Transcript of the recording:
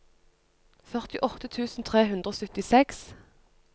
førtiåtte tusen tre hundre og syttiseks